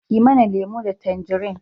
Ki mana lemo da tanjari